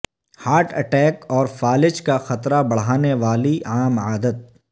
heart attack اور فالج کا خطرہ بڑھانے والی عام عادت